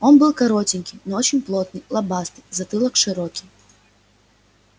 он был коротенький но очень плотный лобастый затылок широкий